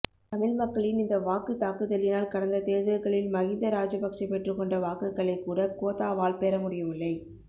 தமிழ் மக்களின் இந்த வாக்குத் தாக்குதலினால் கடந்த தேர்தல்களில் மகிந்த ராஜபக்ச பெற்றுக்கொண்ட வாக்குகளைக் கூட கோத்தாவால் பெறமுடியவில்லை